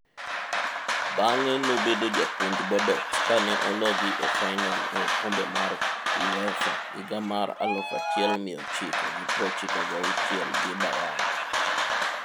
Bang'e nobedo japuonj Bordeaux kane ologi e fainol e okombe mar Uefa higa mar 1996 gi Bayern.